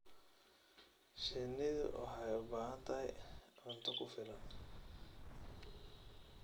Shinnidu waxay u baahan tahay cunto ku filan.